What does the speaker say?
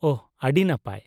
-ᱳᱦ, ᱟᱹᱰᱤ ᱱᱟᱯᱟᱭ ᱾